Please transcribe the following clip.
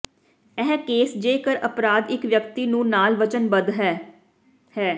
ਇਹ ਕੇਸ ਜੇਕਰ ਅਪਰਾਧ ਇਕ ਵਿਅਕਤੀ ਨੂੰ ਨਾਲ ਵਚਨਬੱਧ ਹੈ ਹੈ